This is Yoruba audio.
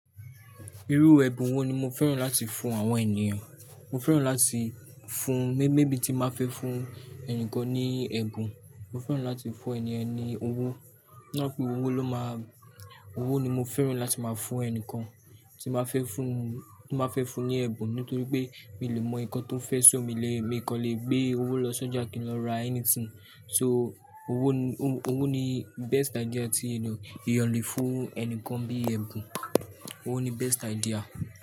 Irú ẹbun wo ni mo fẹ́ràn láti fún àwọn ènìyàn? Mo fẹ́ràn láti fún, mé-maybe tí n bá fẹ́ fún ẹnìkan ní ẹ̀bùn, mo fẹ́ràn láti fún ènìyàn ní owó. Nítorí pé owó ló má, owó ni mo fẹ́ràn láti máa fún ẹnìkan tí n bá fẹ́ fún, tí n ba fẹ́ fún ní ẹ̀bùn. Nítorí pé mi ò lè mọ ǹkan tó fẹ́ ṣò mi lè, mi kò lè gbé owó lọ sọ́jà kí n lọ ra anything. So owó ni, owó ni best idea tí ènìyàn le fún ẹnìkan bíi ẹ̀bùn. Owó ni best idea.